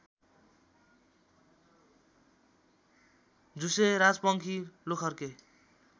झुसे राजपङ्खी लोखर्के